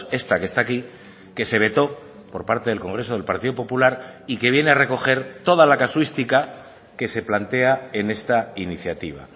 esta que está aquí que se vetó por parte del congreso del partido popular y que viene a recoger toda la casuística que se plantea en esta iniciativa